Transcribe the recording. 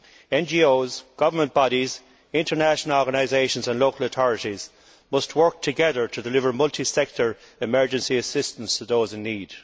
NGOs, government bodies, international organisations and local authorities must work together to deliver multisector emergency assistance to those in need.